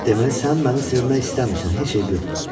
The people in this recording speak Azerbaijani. Deməli sən məni sevmək istəmirsən, heç eybi yoxdur.